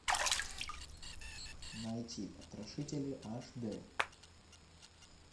найти потрошители аш д